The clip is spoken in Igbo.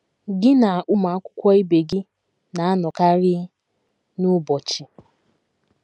GỊ NA ụmụ akwụkwọ ibe gị na - anọkarị n’ụbọchị.